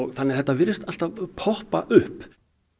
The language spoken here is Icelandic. þannig að þetta virðist alltaf poppa upp